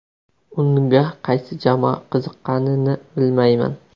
Unga qaysi jamoa qiziqqanini bilmayman.